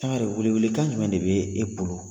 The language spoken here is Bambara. Sangare welewele kan jumɛn de be e bolo